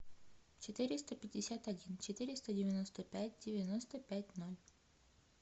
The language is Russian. четыреста пятьдесят один четыреста девяносто пять девяносто пять ноль